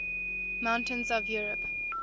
mountains of europe